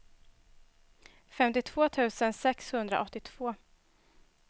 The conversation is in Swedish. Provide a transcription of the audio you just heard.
femtiotvå tusen sexhundraåttiotvå